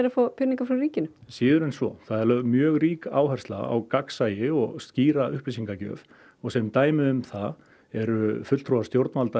fá peninga frá ríkinu síður en svo það er lögð mjög rík áhersla á gagnsæi og skýra upplýsingagjöf og sem dæmi um það eru fulltrúar stjórnvalda